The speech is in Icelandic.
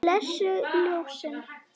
Blessuð ljósin.